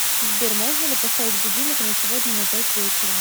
сбер можно ли поставить будильник на сегодня на пять вечера